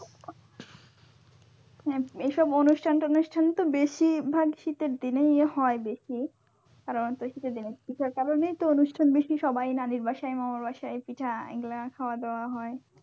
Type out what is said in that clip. এ~এসব অনুষ্ঠান ঠুনুস্থান তো বেশিরভাগ শীতের দিনে হয় দেখি আর পিঠার কারণেই তো অনুষ্ঠান বেশি সবাই নানীর বাসায় মামার বাসায় পিঠা এগুলা খাওয়া দাওয়া হওয়া হয়।